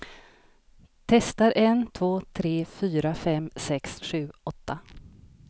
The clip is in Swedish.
Testar en två tre fyra fem sex sju åtta.